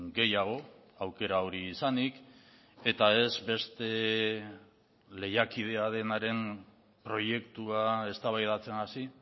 gehiago aukera hori izanik eta ez beste lehiakidea denaren proiektua eztabaidatzen hasi